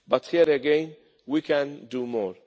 But here again, we can do more.